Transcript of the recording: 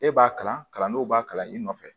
E b'a kalan kalandenw b'a kalan i nɔfɛ